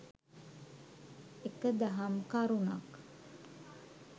එක දහම් කරුණක්